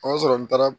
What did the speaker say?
O y'a sɔrɔ n taara